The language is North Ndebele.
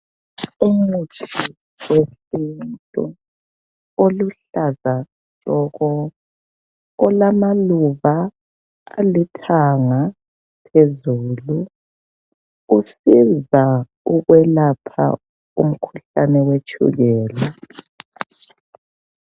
Umuthi wesintu oluhlaza olamaluba alithanga phezulu usiza ukwelapha umkhuhlane wetshukela.